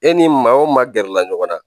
E ni maa o maa gɛrɛla ɲɔgɔn na